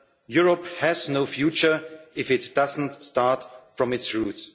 together. Europe has no future if it doesn't start from